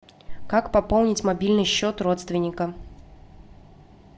как пополнить мобильный счет родственника